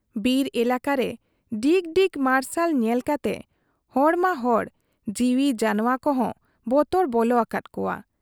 ᱵᱤᱨ ᱮᱞᱟᱠᱟ ᱨᱮ ᱰᱤᱜᱽ ᱰᱤᱜᱽ ᱢᱟᱨᱥᱟᱞ ᱧᱮᱞ ᱠᱟᱛᱮ ᱦᱚᱲ ᱢᱟ ᱦᱚᱲ ᱡᱤᱣᱤ ᱡᱟᱱᱶᱟ ᱠᱚᱦᱚᱸ ᱵᱚᱛᱚᱨ ᱵᱚᱞᱚ ᱟᱠᱟᱫ ᱠᱚᱣᱟ ᱾